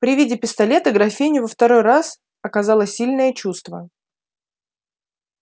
при виде пистолета графиню во второй раз оказала сильное чувство